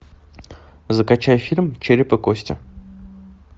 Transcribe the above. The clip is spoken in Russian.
закачай фильм череп и кости